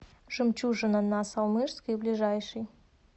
жемчужина на салмышской ближайший